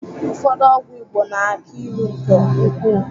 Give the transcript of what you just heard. Ụfọdụ ọgwụ Igbo na-aki ilu nke ukwuu.